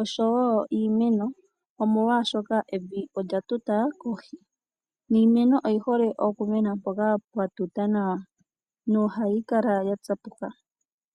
oshowo iimeno molwaashoka, evi olya tuta kohi niimeno oyi hole okumena mpoka pwa tuta nawa nohayi kala ya tsapuka.